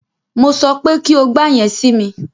Mo sọ pé kí o gba yẹn si mi!